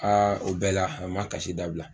o bɛɛ la a ma kasi dabila